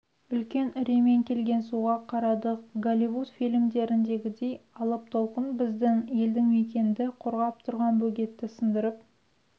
үлкен үреймен келген суға қарадық голливуд фильмдеріндегідей алып толқын біздің елді мекенді қорғап тұрған бөгетті сындырып